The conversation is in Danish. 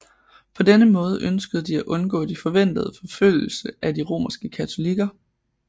På denne måde ønskede de at undgå de forventede forfølgelse af de romerske katolikker